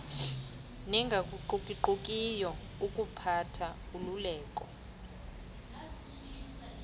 nengaguquguqukiyo yokuphatha ululeko